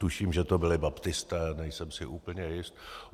Tuším, že to byli baptisté, nejsem si úplně jist.